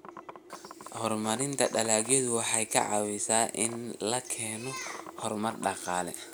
Horumarinta dalagyadu waxa ay ka caawisaa in la keeno horumar dhaqaale.